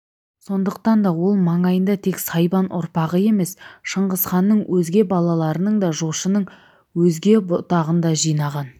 сондықтан да ол маңайына тек сайбан ұрпағы емес шыңғысханның өзге балаларының да жошының өзге бұтағын да жинаған